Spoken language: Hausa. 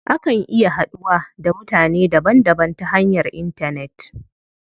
Akan iya haduwa da mutane daban daban ta hanyar intanet.